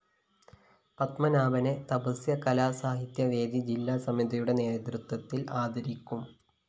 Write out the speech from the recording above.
പത്മനാഭനെ Tapasya Kalasahitya venue ജില്ലാ സമിതിയുടെ നേതൃത്വത്തില്‍ ആദരിക്കും